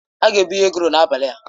A ga-ebunye egról n'abalị a.